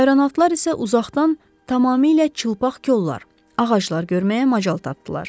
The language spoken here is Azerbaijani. Ayronatılar isə uzaqdan tamamilə çılpaq kollar, ağaclar görməyə macal tapdılar.